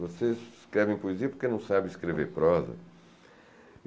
Vocês escrevem poesia porque não sabem escrever prosa?